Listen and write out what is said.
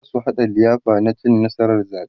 zasu haɗa liyafa na cin nasarar zaɓe